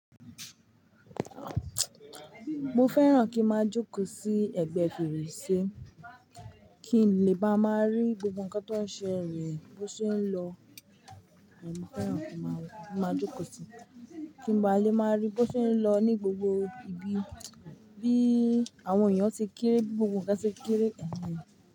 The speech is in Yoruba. Mo fẹ́ràn kí n máa jókòó sí ẹ̀gbẹ́ fèrèsé kí n lè máa rí gbogbo ǹkan tó ń ṣelẹ̀ bó ṣe ń lọ. Mo fẹ́ràn kí n máa jókòó sí kí n lè máa rí bó ṣe ń lọ ní gbogbo ibi bí àwọn èèyàn ṣe ń kéré, gbogbo ǹkan ṣe ń kéré.